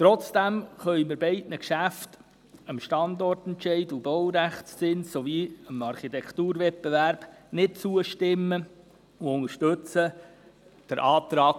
Trotzdem können wir beiden Geschäften, dem Standortentscheid, dem Baurechtszins und dem Architekturwettbewerb, nicht zustimmen und unterstützen den Antrag